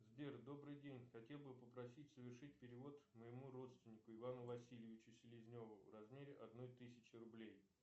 сбер добрый день хотел бы попросить совершить перевод моему родственнику ивану васильевичу селезневу в размере одной тысячи рублей